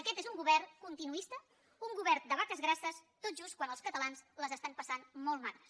aquest és un govern continuista un govern de vaques grasses tot just quan els catalans les estan passant molt magres